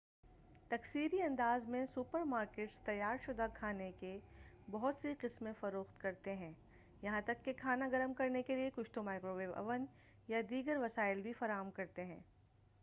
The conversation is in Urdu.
تکثیری انداز میں سوپر مارکیٹس تیار شدہ کھانے کے بہت سی قسمیں فروخت کرتے ہیں یہاں تک کہ کھانا گرم کرنے کیلئے کچھ تو مائکرو ویو اوین یا دیگر وسائل بھی فراہم کرتے ہیں